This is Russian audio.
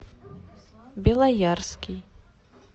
белоярский